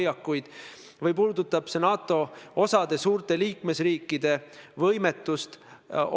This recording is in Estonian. See on väga oluliselt Eesti maine küsimus rahvusvahelisel areenil.